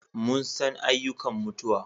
Mun san ayyukan mutuwa